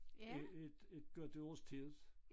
Et et et godt års tid